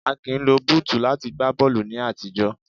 A kìí lo búùtù láti gba bọ́ọ̀lù ní àtijọ́.